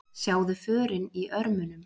Sjáðu förin í örmunum.